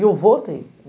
E eu vou ter.